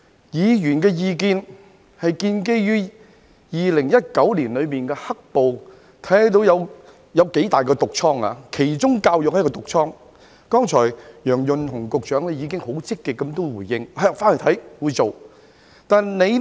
議員的意見是建基於2019年的"黑暴"，看到有多麼大的"毒瘡"——教育是其中一個"毒瘡"，楊潤雄局長剛才已經很積極的回應，表示回去會看看，他會做。